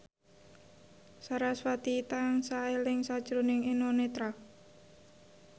sarasvati tansah eling sakjroning Eno Netral